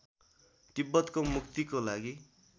तिब्बतको मुक्तिको लागि